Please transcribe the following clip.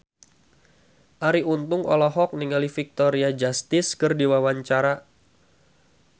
Arie Untung olohok ningali Victoria Justice keur diwawancara